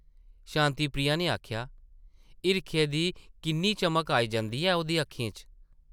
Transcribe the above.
शांति प्रिया नै आखेआ ,‘‘ हिरखै दी किन्नी चमक आई जंदी ऐ ,ओह्दी अक्खें च!’’